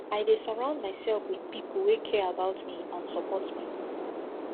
i dey surround myself with people wey care about me and support me